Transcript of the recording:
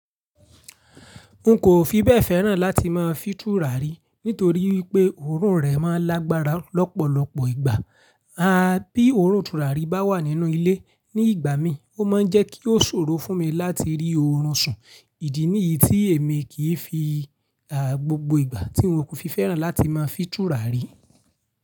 N kò fi bẹ́ẹ̀ fẹ́ràn láti máa fítù rárí nítorí wípé oorun rẹ̀ ma lágbára lọ́pọ̀lọpọ̀ ìgbà. A bí oorun tùràrí bá wà nínú ilé ní ìgbà mí, ó ma ń jẹ́ kí ó ṣòro fún mi láti rí oorun sùn. Ìdí nìyí tí èmi kì í fi gbogbo ìgbà tí n wòkú fi fẹ́ràn láti má fítù rárí.